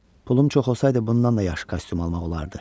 Pulum çox olsaydı, bundan da yaxşı kostyum almaq olardı.